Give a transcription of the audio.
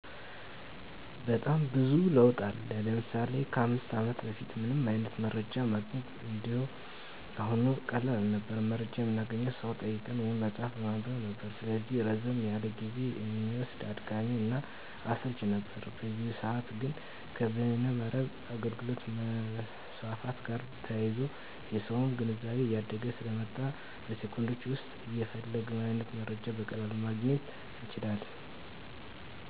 በጣም ብዙ ለውጥ አለ። ለምሳሌ ከ 5 አመት በፊት ምንም አይነት መረጃ ማግኘት እንደ አሁኑ ቀላል አልነበረም። መረጃ የምናገኘው ሰው በመጠየቅ ወይም መፅሀፍ በማንበብ ነበር። ስለዚህ ረዘም ያለ ጊዜ እሚወስድ፣ አድካሚ እና አሰልችም ነበር። በአሁኑ ሰዐት ግን ከበይነ መረብ አገልግሎት መስፋፋት ጋር ተያይዞ የሰውም ግንዛቤ እያደገ ስለመጣ በ ሴኮንዶች ዉስጥ የፈለግነውን አይነት መረጃ በቀላሉ ማግኘት ይቻላል።